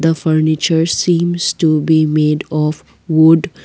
furniture seems to be made of wood.